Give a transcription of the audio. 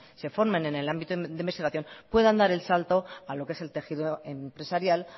se formen en el ámbito de investigación puedan dar el salto a lo que es el tejido empresarial